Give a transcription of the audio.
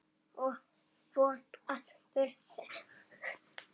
Og von að spurt sé.